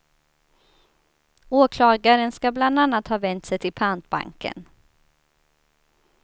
Åklagaren ska bland annat ha vänt sig till pantbanken.